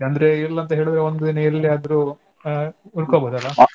ಅಂದ್ರೆ ಎಲ್ ಅಂತಾ ಹೇಳಿದ್ರೆ ಒಂದಿನ ಎಲ್ಲಿಯಾದ್ರೂ ಅಹ್ ಉಳ್ಕೋಬೋದಲ್ಲ.